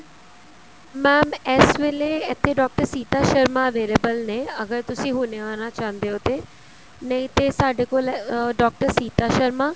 mam ਇਸ ਵੇਲੇ ਇੱਥੇ ਡਾਕਟਰ ਸੀਤਾ ਸ਼ਰਮਾ available ਨੇ ਅਗਰ ਤੁਸੀਂ ਹੁਣੇ ਆਣਾ ਚਾਹੁੰਦੇ ਹੋ ਤੇ ਨਹੀਂ ਤੇ ਸਾਡੇ ਕੋਲ ਡਾਕਟਰ ਸੀਤਾ ਸ਼ਰਮਾ